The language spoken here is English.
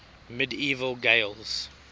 medieval gaels